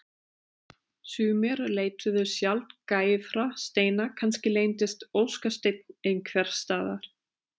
Sumir leituðu sjaldgæfra steina kannski leyndist óskasteinn einhvers staðar.